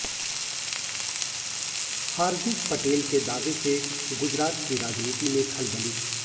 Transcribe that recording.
हार्दिक पटेल के दावे से गुजरात की राजनीति में खलबली